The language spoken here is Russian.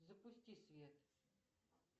запусти свет